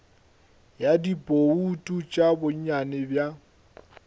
ya dibouto tša bonnyane bja